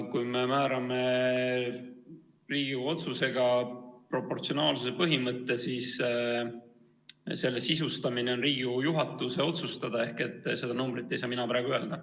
Kui me määrame Riigikogu otsusega proportsionaalsuse põhimõtte, siis on selle sisustamine Riigikogu juhatuse otsustada ehk seda numbrit ei saa mina praegu öelda.